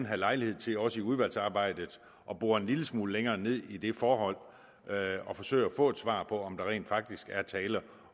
have lejlighed til også i udvalgsarbejdet at bore en lille smule længere ned i det forhold og forsøge at få et svar på om der rent faktisk bare er tale